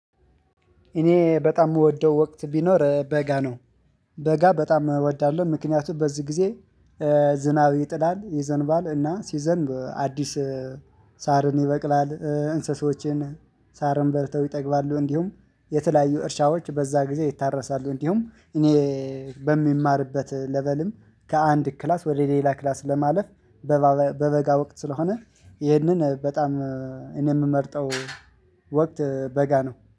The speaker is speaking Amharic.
እኔ በጣም እምወደው ወቅት ቢኖር በጋ ነው። በጋ በጣም እወዳለሁ ምክንያቱም በዚህ ጊዜ። ዝናብ ይጥላል ይዘንባል እና ሲዘንብ አዲስ ሳርን ይበቅላል እንሰሶዎችን ሳርም በልተው ይጠግባሉ። እንዲሁም የተለያዩ እርሻዎች በዛ ጊዜ ይታረሳሉ። እንዲሁም እኔ በምማርበት ለቨልም ከአንድ ክላስ ወደ ሌላ ክላስ ለማለፍ። በበጋ ወቅት ስለሆነ ይህንን በጣም እኔ የምመርጠው ወቅት በጋ ነው